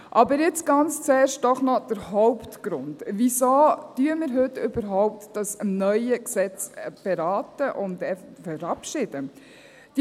Aber jetzt ganz zuerst doch noch der Hauptgrund: Wieso beraten wir heute überhaupt dieses neue Gesetz und verabschieden es eventuell?